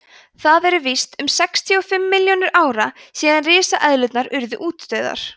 það eru víst um sextíu og fimm milljónir ára síðan risaeðlurnar urðu útdauðar